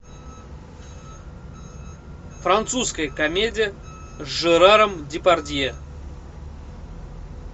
французская комедия с жераром депардье